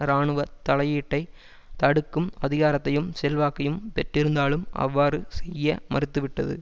இராணுவ தலையீட்டை தடுக்கும் அதிகாரத்தையும் செல்வாக்கையும் பெற்றிருந்தாலும் அவ்வாறு செய்ய மறுத்துவிட்டது